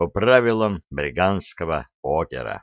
правила